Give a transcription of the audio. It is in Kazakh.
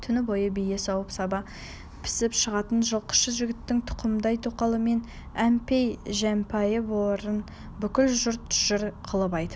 түні бойы бие сауып саба пісіп шығатын жылқышы жігіттің тұқымбай тоқалымен әмпей-жәмпайы барын бүкіл жұрт жыр қылып айтып